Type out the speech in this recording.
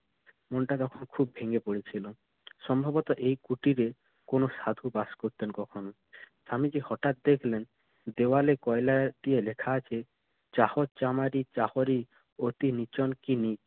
মনটা তখন খুব ভেঙে পড়েছিল। সম্ভবত এই কুটিরে কোনো সাধু বাস করতেন কখনো। স্বামীজি হঠাৎ দেখলেন দেওয়ালে কয়লা দিয়ে লেখা আছে Vedic Sanskrit চাহত চামারি চাহরি অতি নিচন কিনি